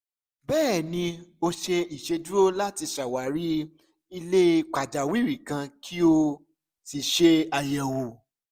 bẹẹni o ṣe iṣeduro lati ṣawari ile pajawiri kan ki o si ṣe ayẹwo